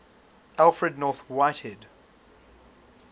alfred north whitehead